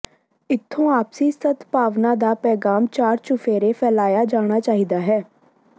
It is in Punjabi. ਇੱਥੋਂ ਆਪਸੀ ਸਦਭਾਵਨਾ ਦਾ ਪੈਗ਼ਾਮ ਚਾਰ ਚੁਫੇਰੇ ਫੈਲਾਇਆ ਜਾਣਾ ਚਾਹੀਦਾ ਹੈ